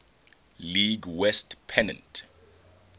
league west pennant